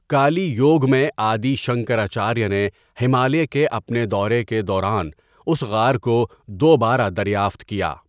کالی یوگ میں، آدی شنکراچاریہ نے ہمالیہ کے اپنے دورے کے دوران اس غار کو دوبارہ دریافت کیا۔